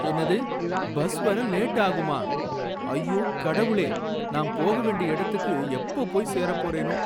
என்னது! பஸ் வர லேட் ஆகுமா? ஐயோ, கடவுளே! நான் போக வேண்டிய இடத்துக்கு எப்ப போய் சேரப் போறேனோ!